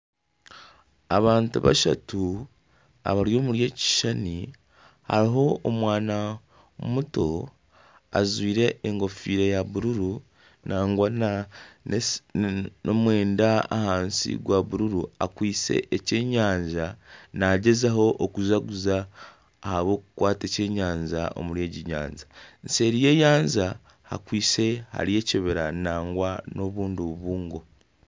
Abantu bashatu abari omuri eki kishushani hariho omwana muto ajwaire enkofiira ya bururu nangwa nomwenda ahansi gwa bururu akwaitse ekyenyanja nagyezaho okujaguza ahabwokukwata ekyenyaja omuri egi nyanja nseeri nyenyaja hakwaitse hariyo ekibira nangwa nobundi bubungo.